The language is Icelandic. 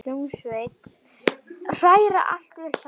Hræra allt vel saman.